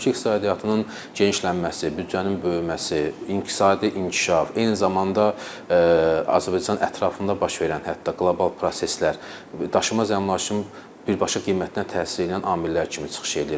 Ölkə iqtisadiyyatının genişlənməsi, büdcənin böyüməsi, iqtisadi inkişaf, eyni zamanda Azərbaycan ətrafında baş verən hətta qlobal proseslər daşınmaz əmlakın birbaşa qiymətinə təsir edən amillər kimi çıxış edir.